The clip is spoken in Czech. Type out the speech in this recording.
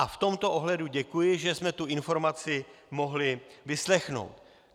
A v tomto ohledu děkuji, že jsme tu informaci mohli vyslechnout.